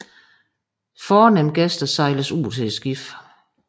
Fornemme gæster sejles ud til skibet